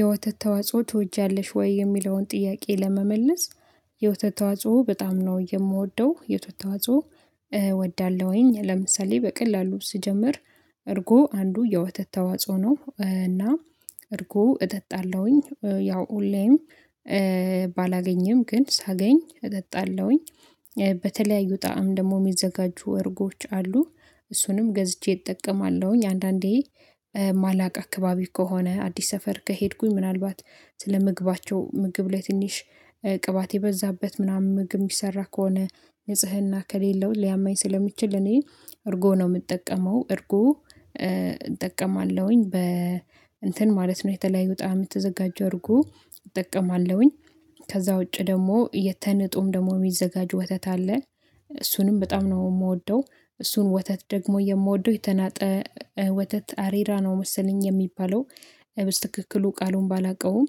የወተት ተዋጽኦ ትወጃለሽ ወይ? የሚለውን ጥያቄ ለመመለስ የወተት ተዋጽኦ በጣም ነው የምወደው የወተት ተዋጽኦ እወዳለሁኝ ለምሳሌ በቀላሉ ስጀምር እርጎ አንዱ የወተት ተዋጽኦ ነው እና እርጎ እጠጣለሁኝ ያው ሁሌም ባላገኘም ግን ሳገኝ እጠጣለሁኝ በተለያዩ ጣዕም ደግሞ የሚዘጋጁ እርጎዎች አሉ እሱንም ገዝቼ እጠቀማለሁኝ አንዳንዴ ማላቀው አካባቢ ከሆነ አዲስ ሰፈር ከሄድኩኝ ምናልባት ስለምግባቸው ምግብ ላይ ትንሽ ቅባት የበዛበት ምናምን ምግብ የሚሰራ ከሆነ ንጽህና ከሌለው ሊያመኝ ስለሚችል እኔ እርጎ ነው የምጠቀመው እርጎ እጠቀማለሁኝ እንትን ማለት ነው የተለያዩ ጣዕም የተዘጋጁ አድርጎ እጠቀማለሁኝ ከዛ ውጪ ደግሞ ተንጦም ደግሞ የሚዘጋጁ ወተት አለ እሱንም በጣም ነው የምወደው እሱን ወተት ደግሞ የምወደው የተናጠ ወተት አሬራ ነው መሰለኝ የሚባለው በትክክሉ ቃሉን ባላውቀውም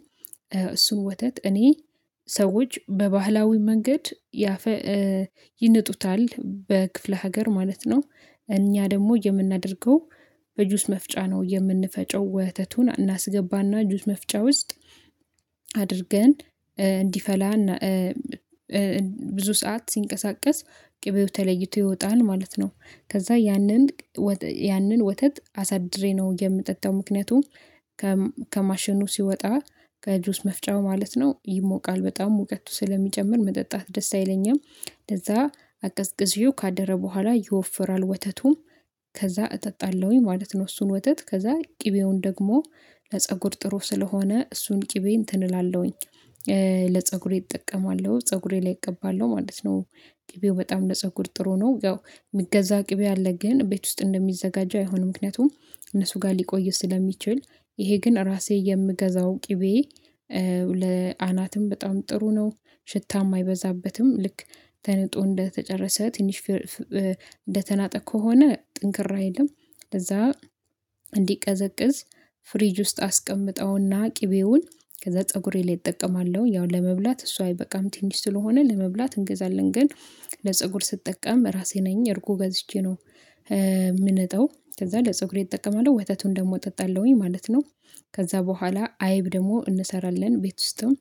እሱን ወተት እኔ ሰዎች በባህላዊ መንገድ ይንጡታል በክፍለ ሀገር ማለት ነው እኛ ደግሞ የምናደርገው በጁስ መፍጫ ነው የምንፈጨው ወተቱን እናስገባና ጁስ መፍጫ ውስጥ አድርገን እንዲፈላና ብዙ ሰዓት ሲንቀሳቀስ ቅቤው ተለይቶ ይወጣል ማለት ነው ከዛ ያንን ያንን ወተት አሳድሬ ነው የምጠጣው ምክንያቱም ከማሽኑ ሲወጣ ከጁስ መፍጫው ማለት ነው ይሞቃል በጣም ሙቀቱ ስለሚጨምር መጠጣት ደስ አይለኝም ከዛ አቀዝቅዤው ካደረ በኋላ ይወፍራል ወተቱ ከዛ እጠጣለሁኝ ማለት ነው እሱን ወተት ከዛ ቅቤውን ደግሞ ለፀጉር ጥሩ ስለሆነ እሱን ቅቤ እንትን እላለሁኝ ለፀጉሬ እጠቀማለሁ ፀጉሬ ላይ እቀባለሁ ማለት ነው ቅቤው በጣም ለፀጉር ጥሩ ነው ያው ሚገዛ ቅቤ አለ ግን ቤት ውስጥ እንደሚዘጋጀው አይሆንም ምክንያቱም እነሱ ጋር ሊቆይ ስለሚችል ይሄ ግን ራሴ የምገዛው ቅቤ ለአናትም በጣም ጥሩ ነው ሽታም አይበዛበትም ልክ ተንጦ እንደተጨረሰ ትንሽ እንደተናጠ ከሆነ ጥንክር አይልም ከዛ እንዲቀዘቅዝ ፍሪጅ ውስጥ አስቀምጠውና ቅቤውን ከዛ ፀጉሬ ላይ እጠቀማለሁ ያው ለመብላት እሱ አይበቃም ትንሽ ስለሆነ ለመብላት እንገዛለን ግን ለፀጉር ስጠቀም ራሴ ነኝ እርጎ ገዝቼ ነው እምንጠው ከዛ ለፀጉሬ እጠቀማለሁ ወተቱን ደግሞ እጠጣለሁኝ ማለት ነው ከዛ በኋላ አይብ ደግሞ እንሰራለን ቤት ውስጥም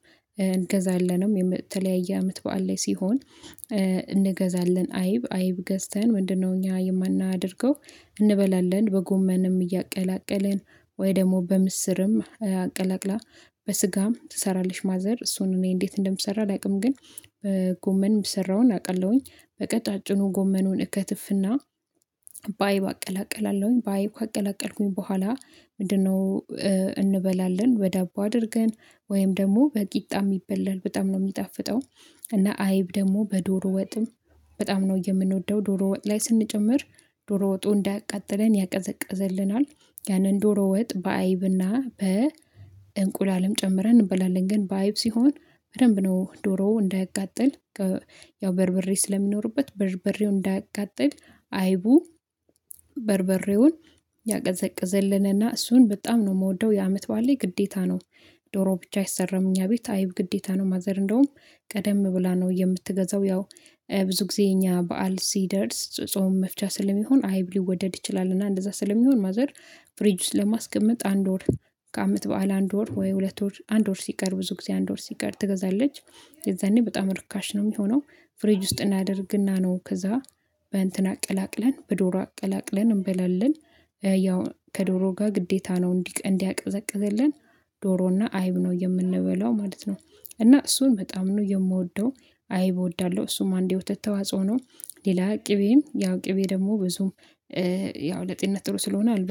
እንገዛለንም የተለያየ አመት በዓል ላይ ሲሆን እንገዛለን አይብ አይብ ገዝተን ምንድነው እኛ የማናደርገው እንበላለን በጎመንም እያቀላቀልን ወይ ደግሞ በምስርም አቀላቅላ በስጋም ትሰራለች ማዘር እሱን እኔ እንዴት እንደሚሰራ አላውቅም ግን ጎመን የሚሰራውን አውቃለሁኝ በቀጫጭኑ ጎመኑን እከትፍና በአይብ አቀላቅላለሁኝ ባይብ ካቀላቀልኩኝ በኋላ ምንድነው እንበላለን በዳቦ አድርገን ወይም ደግሞ በቂጣም ይበላል በጣም ነው የሚጣፍጠው እና አይብ ደግሞ በዶሮ ወጥም በጣም ነው የምንወደው ዶሮ ወጥ ላይ ስንጨምር ዶሮ ወጡ እንዳያቃጥለን ያቀዘቅዝልናል ያንን ዶሮ ወጥ በአይብና በእንቁላልም ጨምረን እንበላለን ግን በአይብ ሲሆን በደንብ ነው ዶሮ እንዳያቃጥል ያው በርበሬ ስለሚኖርበት በርበሬው እንዳያቃጥል አይቡ በርበሬውን ያቀዘቅዝልንና እሱን በጣም ነው የምወደው የአመት በዓል ላይ ግዴታ ነው ዶሮ ብቻ አይሰራም እኛ ቤት አይብ ግዴታ ነው ማዘር እንደውም ቀደም ብላ ነው የምትገዛው ያው ብዙ ጊዜ እኛ በዓል ሲደርስ ጾም መፍቻ ስለሚሆን አይብ ሊወደድ ይችላል እና እንደዛ ስለሚሆን ማዘር ፍሪጅ ውስጥ ለማስቀመጥ አንድ ወር ከአመት በዓል አንድ ወር ወይ ሁለት ወር አንድ ወር ሲቀር ብዙ ጊዜ አንድ ወር ሲቀር ትገዛለች የዛኔ በጣም ርካሽ ነው የሚሆነው ፍሪጅ ውስጥ እናደርግና ነው ከዛ በእንትን አቀላቅለን በዶሮ አቀላቅለን እንበላለን ያው ከዶሮ ጋር ግዴታ ነው እንዲያቀዘቅዘልን ዶሮና አይብ ነው የምንበላው ማለት ነው እና እሱን በጣም ነው የምወደው አይብ እወዳለሁ እሱም አንዴ ወተት ተዋጽኦ ነው ሌላ ቅቤም ያው ቅቤ ደግሞ ብዙም ያው ለጤንነት ጥሩ ስለሆነ አልበላም